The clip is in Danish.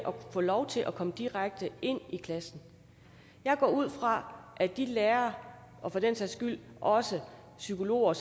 få lov til at komme direkte ind i klassen jeg går ud fra at de lærere og for den sags skyld også psykologer